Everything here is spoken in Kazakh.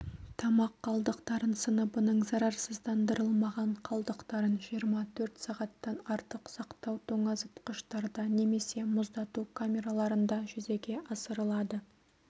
тамақ қалдықтарын сыныбының зарарсыздандырылмаған қалдықтарын жиырма төрт сағаттан артық сақтау тоңазытқыштарда немесе мұздату камераларында жүзеге асырылады